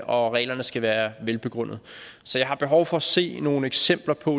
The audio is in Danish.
og reglerne skal være velbegrundede så jeg har behov for at se nogle eksempler på